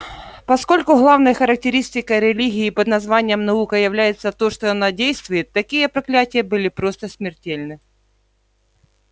поскольку главной характеристикой религии под названием наука является то что она действует такие проклятия были просто смертельны